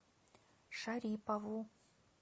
шарипову